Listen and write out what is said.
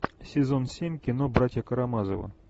сезон семь кино братья карамазовы